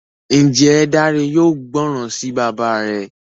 Njé Dare yóò gbóròn sí bàbá rẹ?